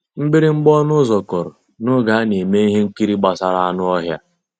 Mgbìrìgbà ọnụ́ ụ́zọ̀ kụ́rụ̀ n'ògé á ná-èmè íhé nkírí gbàsàrà ànú ọ́híá.